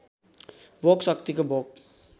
भोक शक्तिको भोक